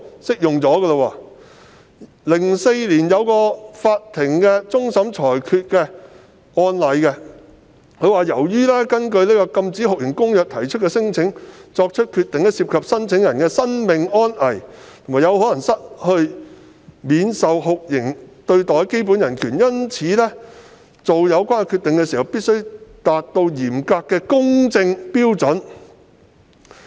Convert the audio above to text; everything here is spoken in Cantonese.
在2004年一個終審裁決案例中，法庭指出由於就根據《禁止酷刑公約》提出的聲請所作的決定涉及聲請人的生命安危，且有可能令他們失去免受酷刑對待的基本人權，因此在作出有關決定時必須達到嚴謹的公正標準。